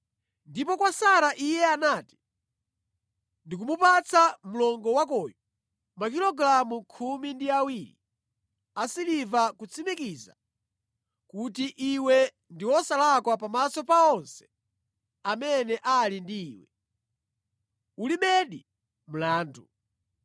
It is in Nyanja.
Ndipo kwa Sara, iye anati, “Ndikumupatsa mlongo wakoyu makilogalamu khumi ndi awiri a siliva kutsimikiza kuti iwe ndi wosalakwa pamaso pa onse amene ali ndi iwe; ulibedi mlandu.”